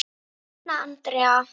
Hanna Andrea.